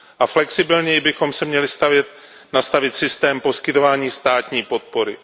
A flexibilněji bychom si měli nastavit systém poskytování státní podpory.